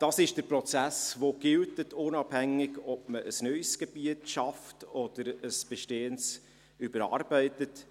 Dies ist der Prozess, der gilt, unabhängig davon, ob man ein neues Gebiet schafft oder ein bestehendes überarbeitet.